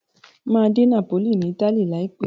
Máa dé Napoli ni Italy láìpẹ̀ẹ́.